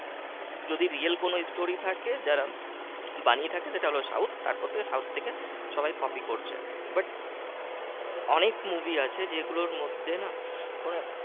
যদি real কোন story থাকে তার যার বানিয়ে থাকে সেটা হল south তারপর থেকে south থেকে সবাই copy করছে but অনেক movie আছে যেগুলোর মধ্যে না ওই